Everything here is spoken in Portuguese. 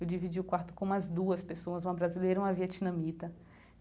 Eu dividi o quarto com umas duas pessoas, uma brasileira e uma vietnamita.